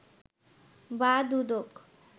বা দুদক